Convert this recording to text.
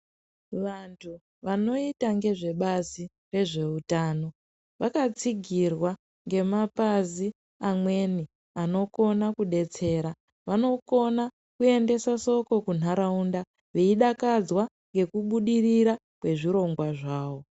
Vantu vanoita ngezve bazi rezveutano vakatsigirwa ngemapazi amweni anokona kudetsera. Vanokona kuendesa soko kunharaunda vaidakadzwa ngekubudirira kwezvirongwa zvavo.